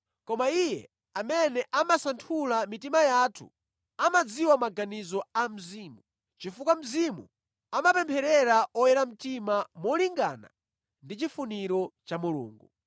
Koma Iye amene amasanthula mitima yathu amadziwa maganizo a Mzimu, chifukwa Mzimu amapempherera oyera mtima molingana ndi chifuniro cha Mulungu.